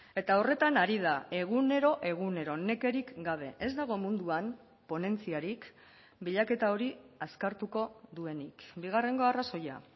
eta horretan ari da egunero egunero nekerik gabe ez dago munduan ponentziarik bilaketa hori azkartuko duenik bigarrengo arrazoia